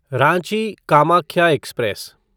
Ranchi Kamakhya express